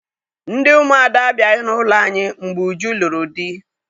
Ndị ụmụada abịaghị n'ụlọ anyị mgbe Uju lụrụ di